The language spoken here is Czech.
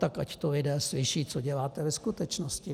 Tak ať to lidé slyší, co děláte ve skutečnosti.